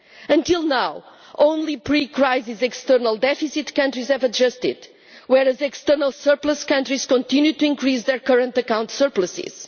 Until now, only pre crisis external deficit countries have adjusted, whereas external surplus countries continue to increase their current account surpluses.